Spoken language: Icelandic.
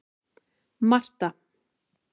Marta